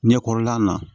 Ɲɛkɔrɔla na